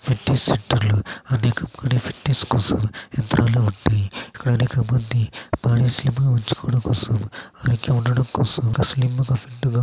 Fitness centre అనేకమంది fitness కోసం యంత్రాలు ఉంటాయి. ఇక్కడ అనేకమంది బాడీ స్లిమ్ గ ఉంచుకోడం కోసం ఉండటం కోసం స్లిమ్ గ ఫిట్ గ --